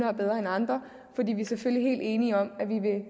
er bedre end andre fordi vi selvfølgelig er helt enige om at vi vil